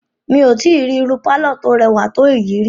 Mí ò rí irú pálọ̀ tí o rẹwà tó èyí ríi.